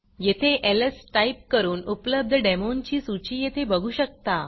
येथे LS type करून उपलब्ध डेमोंची सूची येथे बघू शकता